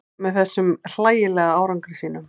Með þessum hlægilega árangri sínum.